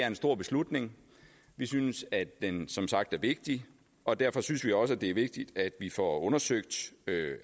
en stor beslutning vi synes at den som sagt er vigtig og derfor synes vi også at det er vigtigt at vi får undersøgt